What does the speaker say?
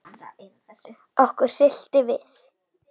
Okkur hryllti við.